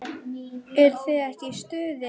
Eruð þið ekki í stuði?